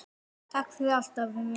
Takk fyrir allt, afi minn.